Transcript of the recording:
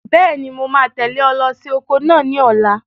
Bẹ́ẹ̀ni, mo máa tẹ̀lé ọ lọ sí oko náà ní ọ̀la.